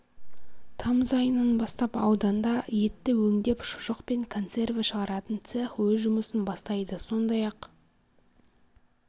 тамыз айынан бастап ауданда етті өңдеп шұжық және консерві шығаратын цех өз жұмысын бастайды сондай-ақ